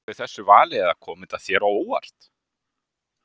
Bjóstu við þessu vali eða kom þetta þér á óvart?